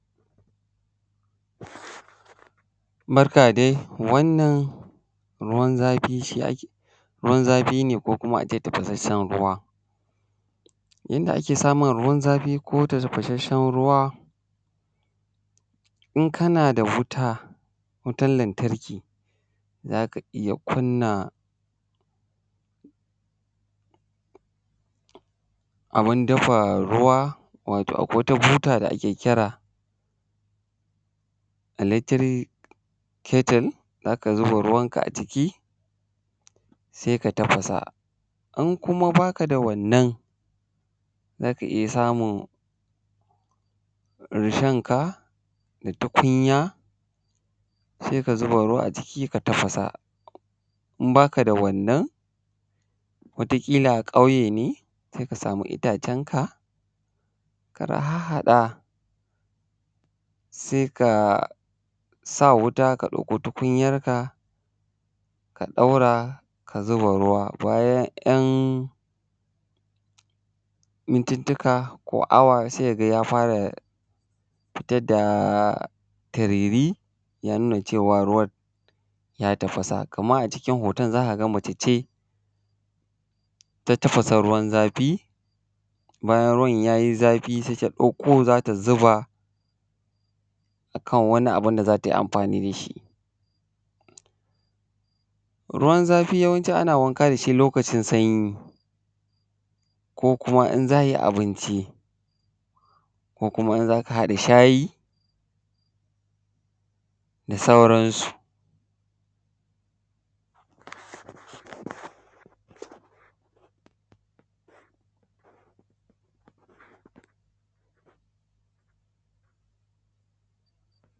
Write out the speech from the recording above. Barka dai wannan ruwan zafi ne ko tafasasshen ruwa, in kana da wuta, wutar lantarki za ka iya kunna abu dafa ruwa wato akwai wata buta da ake kira da electric kettle za ka zuba ruwanka a ciki sai ka sa, in kuma ba ka da wannan za ka iya samun rushonka tukunya ka zuba ruwa a ciki ka tafasa. In ba ka da wannan wata kila ƙauye ne sai ka sama itacenka ka harhaɗa ka ka sa tukunyanka ka zuba ruwa bayan 'yan mintika ko awa sai ka ga ya fara fitar da turuturi ya nuna cewa ruwan ya tafasa, kamar a hoton za ka ga mace ce ta tafasa ruwan zafi bayan ruwan ya yi zafi sai ta dauko za ta zuba a kan wani abun da za ta yi amfani da shi. Ruwan zafi ana yawanci ana wanka da shi lokacin sanyi ko kuma in za a yi abinci ko kuma in za ka haɗa shayi da sauransu.